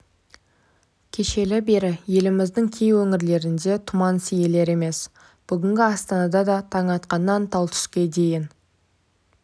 кешелі бері еліміздің кей өңірлерінде тұман сейілер емес бүгін астанада да таң атқаннан тал түске дейін